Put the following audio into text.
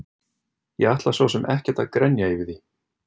Ég ætla svo sem ekkert að grenja yfir því.